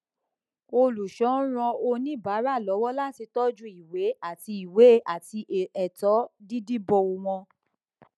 olùṣọ ń ran oníbàárà lọwọ láti tọjú ìwé àti ìwé àti ẹtọ dídìbò wọn